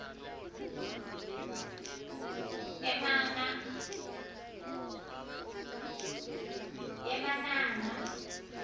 emananga